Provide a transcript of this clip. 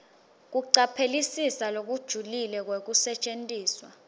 kucaphelisisa lokujulile kwekusetjentiswa